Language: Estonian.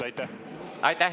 Aitäh!